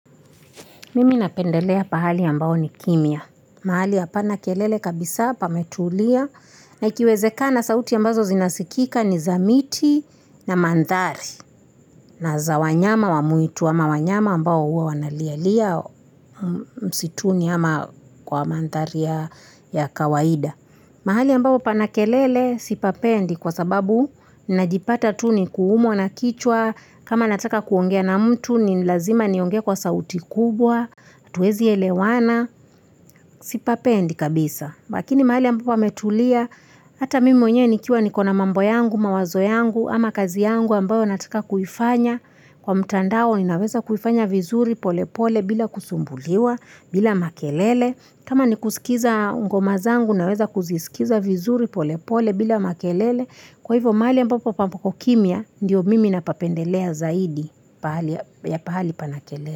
Mimi napendelea pahali ambao ni kimya mahali hapana kelele kabisa pametulia na ikiwezekana sauti ambazo zinasikika ni za miti na mandhari na za wanyama wa mwitu ama wanyama ambao huwa wanalia lia msituni ama kwa mandhari ya kawaida mahali ambao pana kelele sipapendi kwa sababu najipata tu ni kuumwa na kichwa kama nataka kuongea na mtu ni lazima niongee kwa sauti kubwa hatuwezi elewana sipapendi kabisa lakini mahali ambapo pametulia hata mimi mwenyewe nikiwa niko na mambo yangu, mawazo yangu, ama kazi yangu ambao nataka kuifanya kwa mtandao ninaweza kuifanya vizuri pole pole bila kusumbuliwa, bila makelele kama ni kusikiza ngoma zangu naweza kuzisikiza vizuri pole pole bila makelele kwa hivo mahali ambapo papo kimya ndio mimi napapendelea zaidi ya pahali pana kelele.